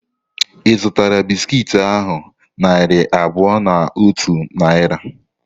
Ị zutara bisiki ahu narị abụọ na otu Naira?